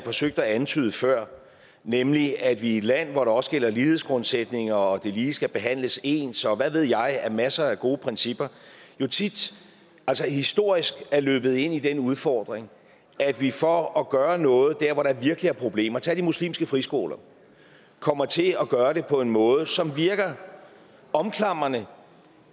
forsøgte at antyde før nemlig at vi i et land hvor der også gælder lighedsgrundsætninger og at det lige skal behandles ens og hvad ved jeg af masser af gode principper jo tit historisk er løbet ind i den udfordring at vi for at gøre noget der hvor der virkelig er problemer tag de muslimske friskoler kommer til at gøre det på en måde som virker omklamrende